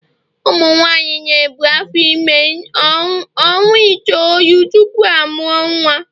ụmụ nwanyị na-ebu afọ ime ọnwa itoolu tupu ọ mụọ nwa